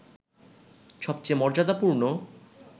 সবচেয়ে মর্যাদাপূর্ণ